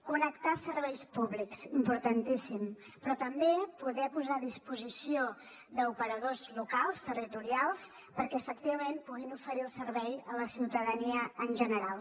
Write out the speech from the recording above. connectar serveis públics importantíssim però també poder posar la a disposició d’operadors locals territorials perquè efectivament puguin oferir el servei a la ciutadania en general